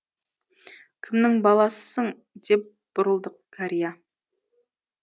кімнің баласысың деп бұрылды кәрия